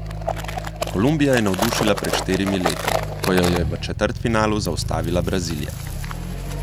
Kolumbija je navdušila pred štirimi leti, ko jo je v četrtfinalu zaustavila Brazilija.